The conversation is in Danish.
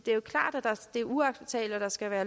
er uacceptabelt og at der skal være